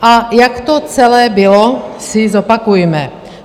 A jak to celé bylo si zopakujme.